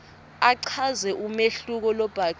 achaze umehluko lobhacile